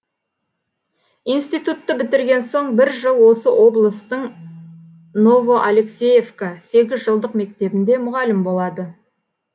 институтты бітірген соң бір жыл осы облыстың новоалексеевка сегізжылдық мектебінде мұғалім болады